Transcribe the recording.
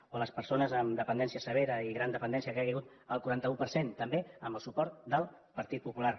o les persones amb dependència severa i gran dependència que han caigut el quaranta un per cent també amb el suport del partit popular